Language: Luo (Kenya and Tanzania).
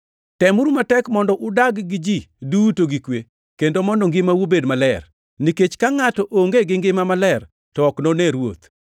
Temuru matek mondo udag gi ji duto gi kwe, kendo mondo ngimau obed maler, nikech ka ngʼato onge gi ngima maler to ok none Ruoth.